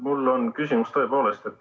Mul on küsimus, tõepoolest.